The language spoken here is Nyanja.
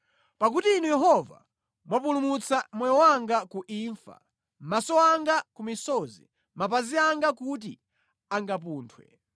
Pakuti Inu Yehova mwapulumutsa moyo wanga ku imfa, maso anga ku misozi, mapazi anga kuti angapunthwe,